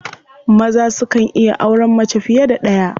Maza sukan iya auren mace fiye da ɗaya.